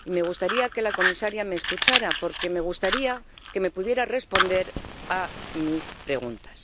y me gustaría que la comisaria me escuchara porque me gustaría que me pudiera responder a mis preguntas.